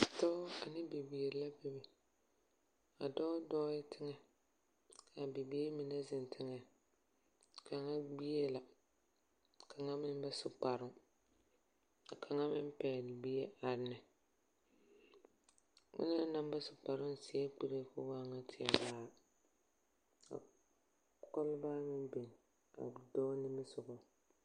Dɔɔ ane bibiri la bebe, a dɔɔ dɔɔɛ teŋɛ, kaa bibiiri mine zeŋ teŋɛ. Kaŋa gbie la, kaŋa meŋ ba su kparoŋ. Ka kaŋa meŋ pɛgle bie are ne. onaŋ naŋ ba su kparoŋ seɛ kuree ko waa nyɛ teɛ vaare. Ka kɔlbaa meŋ biŋ a dɔɔ nimisogɔŋ.